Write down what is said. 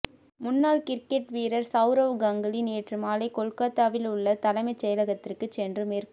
முன்னாள் கிரிக்கெட் வீரர் சவுரவ் கங்குலி நேற்று மாலை கொல்கத்தாவில் உள்ள தலைமைச் செயலகத்திற்கு சென்று மேற்கு